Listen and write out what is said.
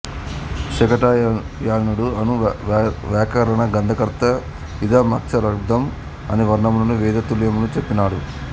శాకటాయనుడు అను వ్యాకరణ గ్రంథకర్త ఇదమక్షరచ్చందః అని వర్ణములకు వేదతుల్యత్వము చెప్పినాడు